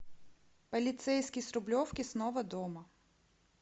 полицейский с рублевки снова дома